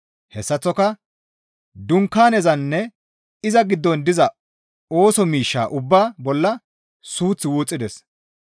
Hessaththoka dunkaanezanne iza giddon diza ooso miishshaa ubbaa bolla suuth wuxxides.